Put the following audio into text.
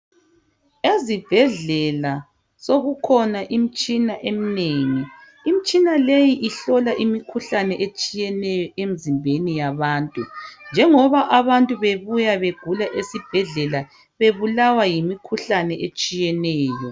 Ezibhedlela sokukhona imitshina eminengi. Imitshina le ihlola imikhuhlane etshiyeneyo emizimbeni yabantu njengoba abantu ɓegula bebuya esibhedlela bebulawa yimikhuhlane ehlukeneyo.